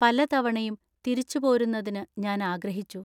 പലതവണയും തിരിച്ചുപോരുന്നതിന് ഞാൻ ആഗ്രഹിച്ചു.